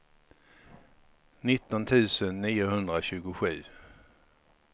nitton tusen niohundratjugosju